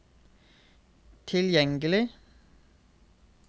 tilgjengelig